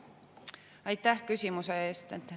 Aitäh küsimuse eest!